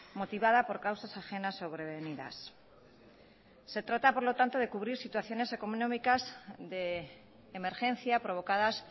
motivada por causas ajenas sobrevenidas se trata por lo tanto de cubrir situaciones económicas de emergencia provocadas